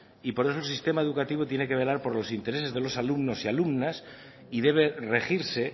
y por eso el sistema educativo tiene que velar por los intereses de los alumnos y alumnas y debe regirse